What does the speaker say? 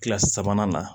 Kilasi sabanan na